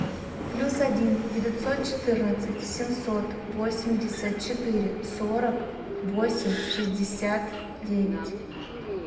плюс один девятьсот четырнадцать семьсот восемьдесят четыре сорок восемь шестьдесят девять